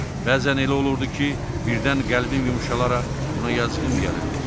Bəzən elə olurdu ki, birdən qəlbim yumşalararaq ona yazığım gəlirdi.